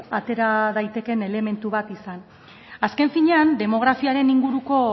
atera daitekeen elementu bat izan azken finean demografiaren inguruko